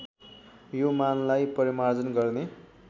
यो मानलाई परिमार्जन गर्ने